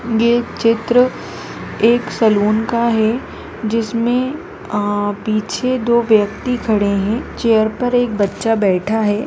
यह चित्र एक सलून का है जिसमें पीछे दो व्यक्ति खड़े हुए है चेयर पर एक बच्चा बैठा है।